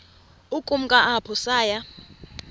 ukumka apho saya